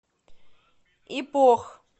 ипох